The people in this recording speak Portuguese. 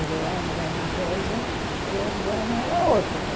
O verão era uma coisa e o inverno era outra.